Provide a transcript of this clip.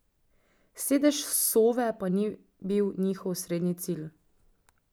Sedež Sove pa ni bil njihov osrednji cilj.